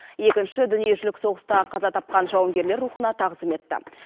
екінші дүниежүзілік соғыста қаза тапқан жауынгерлер рухына тағзым етті